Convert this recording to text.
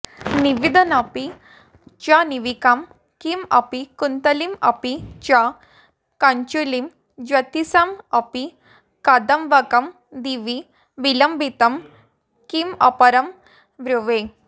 नाविदन्नपि च नीविकां किमपि कुन्तलीमपि च कञ्चुलीं ज्योतिषामपि कदम्बकं दिवि विलम्बितं किमपरं ब्रुवे